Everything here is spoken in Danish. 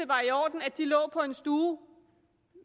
var i orden at de lå på en stue